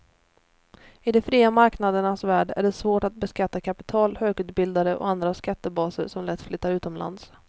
I de fria marknadernas värld är det svårt att beskatta kapital, högutbildade och andra skattebaser som lätt flyttar utomlands.